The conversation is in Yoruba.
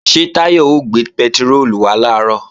Ṣé Táyọ̀ ó gbé pẹtiróòlù wá làárọ̀?